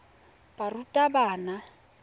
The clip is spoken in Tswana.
barutabana